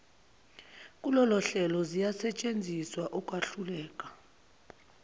kulolohlelo ziyasetshenziswa ukwahluleka